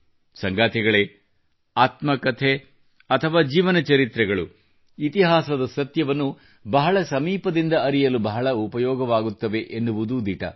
ಸಂಗಾತಿಗಳೇ ಆತ್ಮಕತೆ ಅಥವಾ ಜೀವನಚರಿತ್ರೆಗಳು ಇತಿಹಾಸದ ಸತ್ಯವನ್ನು ಬಹಳ ಸಮೀಪದಿಂದ ಅರಿಯಲು ಬಹಳ ಉಪಯೋಗವಾಗುತ್ತವೆ ಎನ್ನುವುದು ದಿಟ